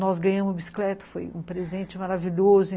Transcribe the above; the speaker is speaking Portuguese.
Nós ganhamos o bicicleta, foi um presente maravilhoso.